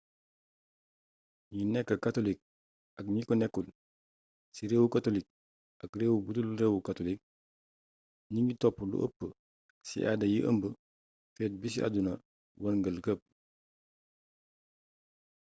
gni nek katolik ak gni ko nekul ci reewu katolik ak reew budul reewu katolik gningui topp lu eepp ci aada yi ëmb feet bi ci àdduna werngeul kep